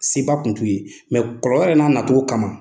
Seba tun t'u ye kɔlɔlɔ yɛrɛ n'a nacogo kama.